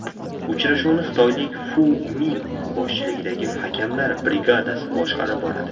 Uchrashuvni xitoylik Fu Ming boshchiligidagi hakamlar brigadasi boshqarib boradi.